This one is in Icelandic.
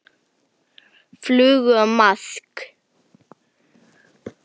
Flugu eða maðk.